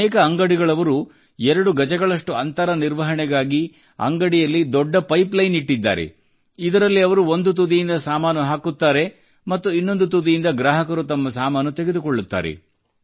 ಅನೇಕ ಅಂಗಡಿಗಳವರು ಎರಡು ಗಜಗಳಷ್ಟು ಅಂತರ ನಿರ್ವಹಣೆಗಾಗಿ ಅಂಗಡಿಯಲ್ಲಿ ದೊಡ್ಡ ಪೈಪ್ ಲೈನ್ ಇಟ್ಟಿದ್ದಾರೆ ಇದರಲ್ಲಿ ಅವರು ಒಂದು ತುದಿಯಿಂದ ಸಾಮಾನು ಹಾಕುತ್ತಾರೆ ಮತ್ತು ಇನ್ನೊಂದು ತುದಿಯಿಂದ ಗ್ರಾಹಕರು ತಮ್ಮ ಸಾಮಾನು ತೆಗೆದುಕೊಳ್ಳುತ್ತಾರೆ